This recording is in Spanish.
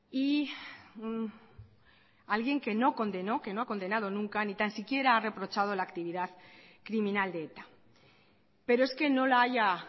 y alguien que no condenó que no ha condenado nunca ni tan siquiera ha reprochado la actividad criminal de eta pero es que no la haya